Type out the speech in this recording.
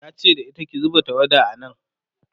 yace da ita "ki zuba tawada a nan!"